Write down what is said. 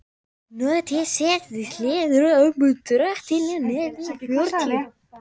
Nokkuð stytt hljóðar það svo í drottins nafni og fjörutíu